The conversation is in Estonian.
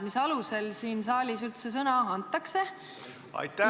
Mis alusel siin saalis üldse sõna antakse?